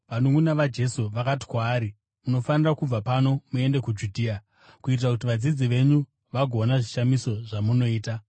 vanunʼuna vaJesu vakati kwaari, “Munofanira kubva pano muende kuJudhea, kuitira kuti vadzidzi venyu vagoona zvishamiso zvamunoita.